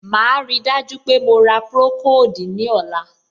Màá ríi dájú pé mo ra procold ní ọ̀la.